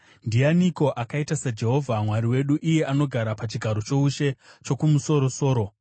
Ndianiko akaita saJehovha Mwari wedu, iye anogara pachigaro choushe chokumusoro-soro,